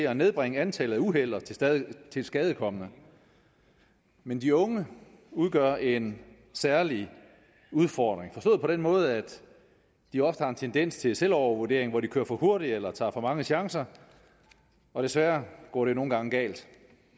at nedbringe antallet af uheld og tilskadekomne men de unge udgør en særlig udfordring forstået på den måde at de ofte har en tendens til selvovervurdering hvor de kører for hurtigt eller tager for mange chancer og desværre går det nogle gange galt